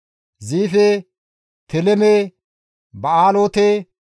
Ziife, Teleme, Ba7aaloote,